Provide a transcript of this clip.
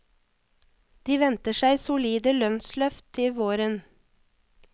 De venter seg solide lønnsløft til våren.